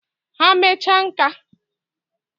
Ha mecha nka..